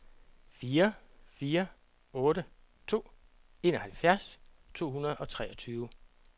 fire fire otte to enoghalvfjerds to hundrede og treogtyve